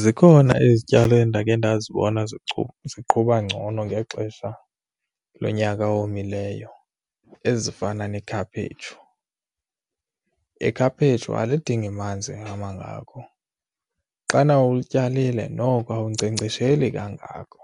Zikhona izityalo endakhe ndazibona ziqhuba ngcono ngexesha lonyaka owomileyo ezifana nekhaphetshu. Ikhaphetshu aludingi manzi amangako. Xana ulityalile noko uwunkcenkcesheli kangako.